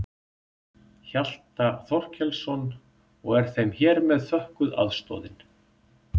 Hjalta Þorkelsson og er þeim hér með þökkuð aðstoðin.